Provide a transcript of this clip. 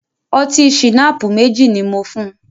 Ọtí ṣìnáàpù mẹ́jì ní mò fùn.